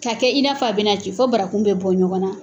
K'a kɛ i n'a fa bɛna ci fɔ barakun bɛ bɔ ɲɔgɔnna